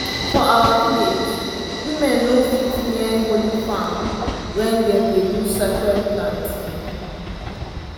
for our village women no fit near holy farm when dem dey do sacred planting.